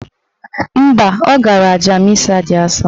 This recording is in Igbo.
Mba, ọ gara aja misa dị asọ.